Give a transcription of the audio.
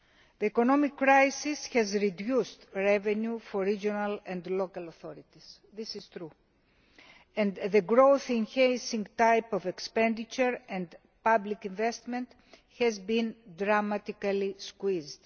The economic crisis has reduced revenue for regional and local authorities, it is true, and the growth enhancing type of expenditure and public investment has been dramatically squeezed.